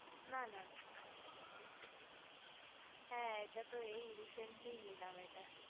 না না হ্যা এটা তো এই recently নিলাম এটা